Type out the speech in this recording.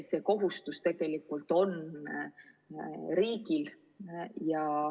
See kohustus on tegelikult riigil.